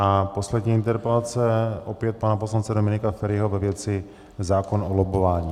A poslední interpelace, opět pana poslance Dominika Feriho, ve věci zákon o lobbování.